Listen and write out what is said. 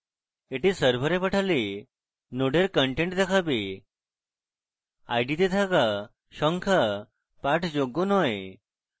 এটি server পাঠালে নোডের contents দেখাবে id তে থাকা সংখ্যা পাঠযোগ্য নয়